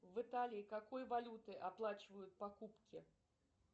в италии какой валютой оплачивают покупки